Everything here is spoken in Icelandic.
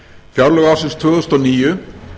fjárlög ársins tvö þúsund og níu